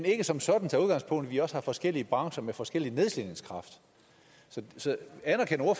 ikke som sådan udgangspunkt vi også har forskellige brancher med forskellig nedslidningskraft så anerkender